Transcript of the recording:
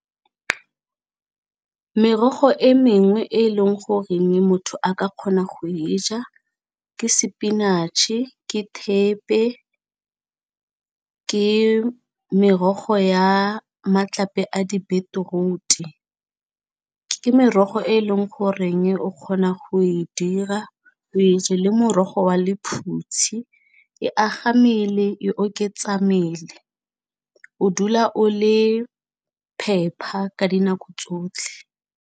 Merogo e mengwe e e leng goreng motho a ka kgona go e ja ke sepinatšhe, ke thepe ke merogo ya matlape a di-beetroot, ke merogo e e leng goreng o kgona go e dira o e je, le morogo wa lephutshi e aga mmele e oketsa mmele o dula o le phepa ka dinako tsotlhe.